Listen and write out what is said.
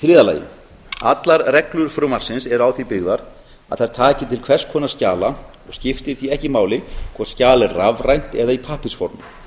skapi þriðja allar reglur frumvarpsins eru á því byggðar að þær taki til hvers konar skjala og skiptir því ekki máli hvort skjal er rafrænt eða í pappírsformi